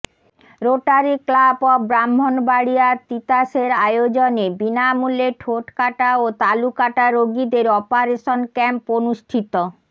Rotary Club of Brahmanbaria তিতাসের আয়োজনে বিনামূল্যে ঠোটকাটা ও তালুকাটা রোগীদের অপারেশন ক্যাম্প অনুষ্ঠিত